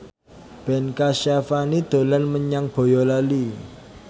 Ben Kasyafani dolan menyang Boyolali